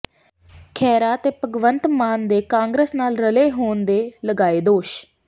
ਖਹਿਰਾ ਤੇ ਭਗਵੰਤ ਮਾਨ ਦੇ ਕਾਂਗਰਸ ਨਾਲ ਰਲੇ ਹੋਣ ਦੇ ਲਗਾਏ ਦੋਸ਼